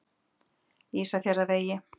Ísafjarðarvegi